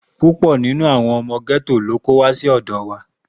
Púpọ̀ ni àwọn ọmọ gẹ́tò tó kó wá sí ọ̀dọ wa.